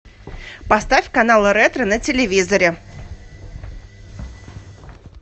поставь канал ретро на телевизоре